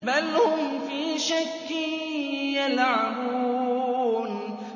بَلْ هُمْ فِي شَكٍّ يَلْعَبُونَ